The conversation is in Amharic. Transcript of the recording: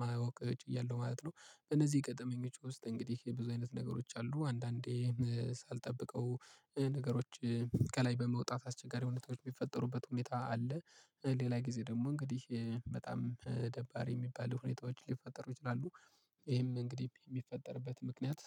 ማወቅ እችላለሁ ማለት ነው። እነዚህ የቀጠመኝ ውስጥ እንግዲህ የብዙ አይነት ነገሮች አሉ አንዳንዴ ሳልጠብቀው ነገሮች ከላይ በመውጣት አስቸጋሪ ሁኔታዎች የሚፈጠሩበት ሁኔታ አለ። ሌላ ጊዜ ደግሞ እንግዲህ በጣም ደባሪ የሚባል ሁኔታዎች ሊፈጠሩ ይችላሉ። ይሄም እንግዲህ የሚፈጠርበት ምክንያት